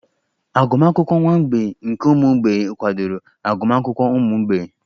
Agụmakwụkwọ nwa mgbei nke ụmụ mgbei kwadoro agụmakwụkwọ ụmụ mgbei?